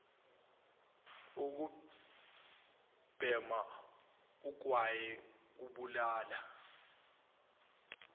ukubhema ugwayi kubulala